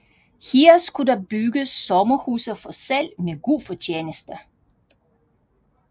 Her skulle der bygges sommerhuse for salg med god fortjeneste